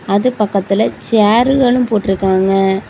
அது பக்கத்துல ச்செருகளும் போட்ருக்காங்க.